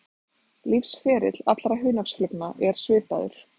Lífsferill allra hunangsflugna er svipaður.